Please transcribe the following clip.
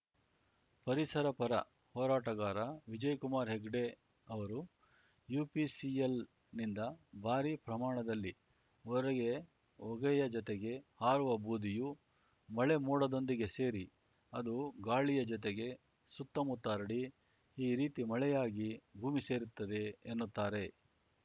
ಪರಿಸರಪರ ಹೋರಾಟಗಾರ ವಿಜಯಕುಮಾರ್ ಹೆಗ್ಡೆ ಅವರು ಯುಪಿಸಿಎಲ್‌ನಿಂದ ಭಾರೀ ಪ್ರಮಾಣದಲ್ಲಿ ಹೊರಗೆ ಹೊಗೆಯ ಜೊತೆಗೆ ಹಾರುವ ಬೂದಿಯು ಮಳೆಮೋಡದೊಂದಿಗೆ ಸೇರಿ ಅದು ಗಾಳಿಯ ಜೊತೆಗೆ ಸುತ್ತಮುತ್ತ ಹರಡಿ ಈ ರೀತಿ ಮಳೆಯಾಗಿ ಭೂಮಿ ಸೇರುತ್ತದೆ ಎನ್ನುತ್ತಾರೆ